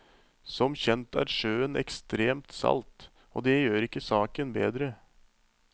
Som kjent er sjøen ekstremt salt, og det gjør ikke saken bedre.